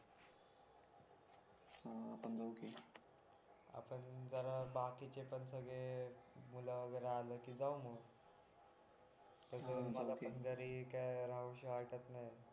हा आपण जाऊ फिरायला आपण जरा बाकीचे पण सगळे मुलं वगैरे आले की जाऊ मग मला पण घरी राहूशी वाटत नाही